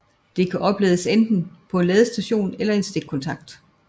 Det kan oplades enten på en ladestation eller i en stikkontakt